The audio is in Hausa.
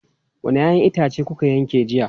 Wanne 'ya'yan itace kuka yanke jiya?